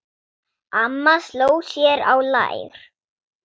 Amma sló sér á lær.